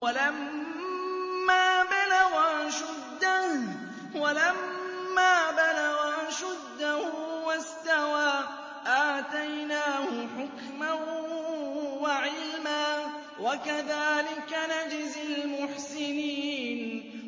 وَلَمَّا بَلَغَ أَشُدَّهُ وَاسْتَوَىٰ آتَيْنَاهُ حُكْمًا وَعِلْمًا ۚ وَكَذَٰلِكَ نَجْزِي الْمُحْسِنِينَ